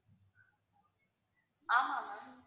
ஆமா ma'am